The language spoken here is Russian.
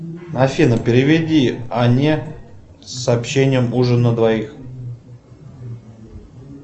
афина переведи анне с сообщением ужин на двоих